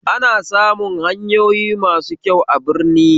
Ana samun hanyoyi masu kyau a birni